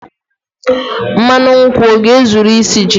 mmanụ nkwu ọ ga-ezuru isi ji?